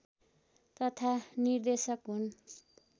तथा निर्देशक हुन्